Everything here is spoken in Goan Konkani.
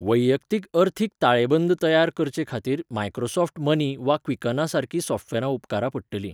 वैयक्तीक अर्थीक ताळेबंद तयार करचेखातीर मायक्रोसॉफ्ट मनी वा क्विकनासारकीं सॉफ्टवॅरां उपकारा पडटलीं.